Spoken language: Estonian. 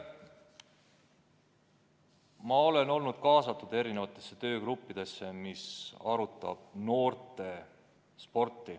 Ma olen olnud kaasatud mitmesugustesse töögruppidesse, kus on arutatud noortesporti.